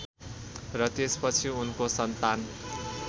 र त्यसपछि उनको सन्तान